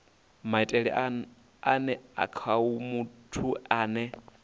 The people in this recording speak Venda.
maitele ane khao muthu ane